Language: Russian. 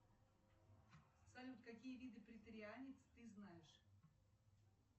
салют какие виды преторианец ты знаешь